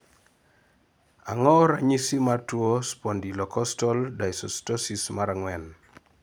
ang'o ranyisi mar tuo spondylocostal dysostosis 4?